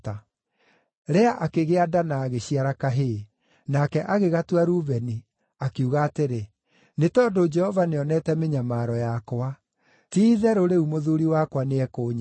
Lea akĩgĩa nda na agĩciara kahĩĩ. Nake agĩgatua Rubeni, akiuga atĩrĩ, “Nĩ tondũ Jehova nĩonete mĩnyamaro yakwa. Ti-itherũ, rĩu mũthuuri wakwa nĩekũnyenda.”